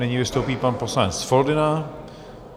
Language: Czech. Nyní vystoupí pan poslanec Foldyna.